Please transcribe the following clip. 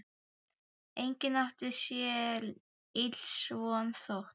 Enginn átti sér ills von, þótt